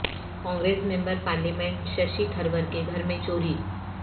Congress member parliament Shashi Tharoor کے گھر میں چوری